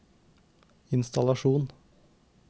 innstallasjon